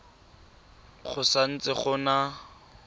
go sa ntse go na